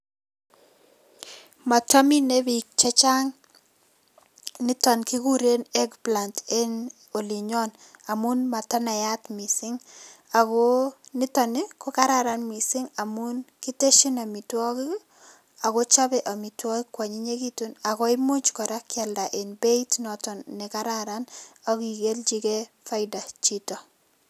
Mataminei biik chechang nitok kikure egg plant eng olinyon amun matanaat mising ako nitok kokararan mising amun kiteshin amitwokik ako chopei amitwokik ko anyinyekitu ako imuch kealda kora eng beit noton ne kararan aki kelchikei faida chito.